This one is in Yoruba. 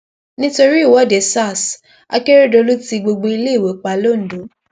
nítorí ìwọde sars akérèdọlù tí gbogbo iléèwé pa londo